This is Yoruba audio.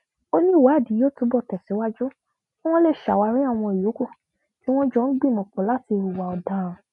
ó ní ìwádìí yóò túbọ tẹsíwájú kí wọn lè ṣàwárí àwọn yòókù tí wọn jọ ń gbìmọpọ láti hùwà ọdaràn